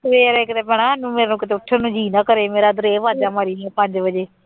ਸਵੇਰੇ ਕਿਤੇ ਭੈਣਾ ਮੇਰਾ ਕਿਤੇ ਉੱਠਣ ਨੂੰ ਜੀਅ ਨਾ ਕਰੇ ਮੇਰਾ ਇੱਧਰ ਇਹ ਆਵਾਜ਼ਾਂ ਮਾਰੀ ਗਿਆ ਪੰਜ ਵਜੇ।